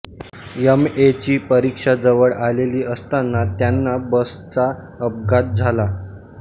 M A ची परीक्षा जवळ आलेली असताना त्यांना बसचा अपघात झाला